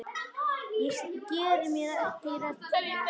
Ég geri mér ekki rellu.